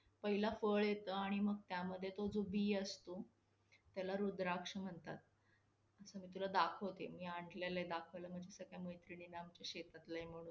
problem होतो की आपण बनवायला खूप time लाग~ .